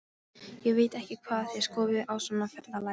Ég veit ekki hvað þið skoðið á svona ferðalagi.